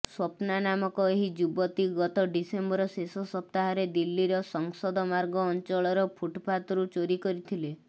ସ୍ବପ୍ନା ନାମକ ଏହି ଯୁବତୀ ଗତ ଡିସେମ୍ବର ଶେଷ ସପ୍ତାହରେ ଦିଲ୍ଲୀର ସଂସଦମାର୍ଗ ଅଂଚଳର ଫୁଟପାଥରୁ ଚୋରୀ କରିଥିଲେ